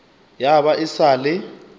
ya ba e sa le